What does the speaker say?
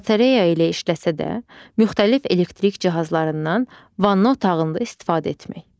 Batareya ilə işləsə də, müxtəlif elektrik cihazlarından vanna otağında istifadə etmək.